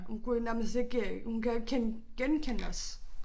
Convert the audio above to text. Hun kunne jo nærmest ikke øh hun kan jo ikke genkende os